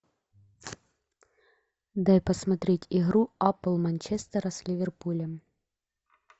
дай посмотреть игру апл манчестера с ливерпулем